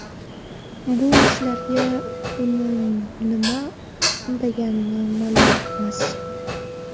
Bu ishlarga uni nima undagani ma’lum emas.